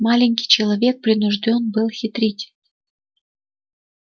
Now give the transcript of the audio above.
маленький человек принуждён был хитрить